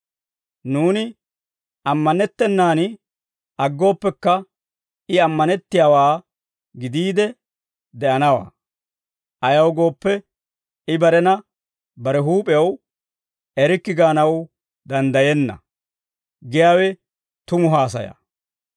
Nuuni ammanettennaan aggooppekka, I ammanettiyaawaa gidiide de'anawaa. Ayaw gooppe, I barena bare huup'ew erikke gaanaw danddayenna» giyaawe tumu haasaya.